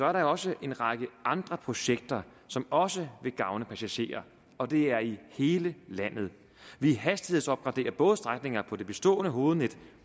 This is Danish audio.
er der jo også en række andre projekter som også vil gavne passagererne og det er i hele landet vi hastighedsopgraderer både strækninger på det bestående hovednet